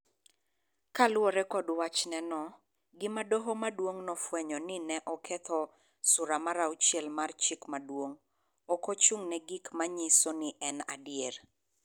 Kaluwore kod wachne no, gima Doho Maduong� nofwenyo ni ne oketho Sura mar Auchiel mar Chik Maduong�, ok ochung�ne gi gik ma nyiso ni en adier.